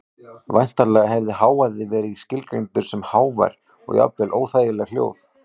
Væntanlega hefði hávaði verið skilgreindur sem hávær og jafnvel óþægileg hljóð.